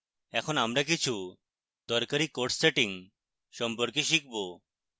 এখন আমরা কিছু দরকারী course সেটিং সম্পর্কে শিখব